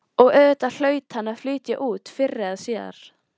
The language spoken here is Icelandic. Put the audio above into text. Og auðvitað hlaut hann að flytja út fyrr eða síðar.